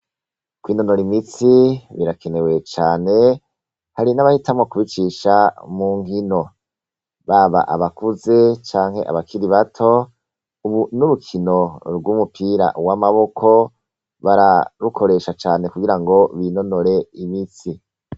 Kwinonora imitsi birakenewe cane hari nabahitamwo kubicisha mu nkino baba abakuze canke abakiri bato n’urukino rw’umupira wamaboko bararukoresha cane kugirango binonore imitsi.